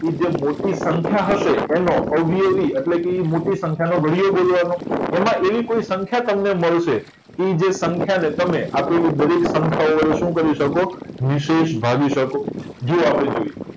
કે જે મોટી સંખ્યા હશે એનો અવયવી એટલે એટલે મોટી સંખ્યા નો ઘડીયો બોલવાનો એમાં એવી કોઈ સંખ્યા તમને મળશે કે તે જ સંખ્યા ને તમે આપેલી દરેક સંખ્યા વડે શું કરી શકો નિષેષ ભાગી શકો જો આપણે જોઈએ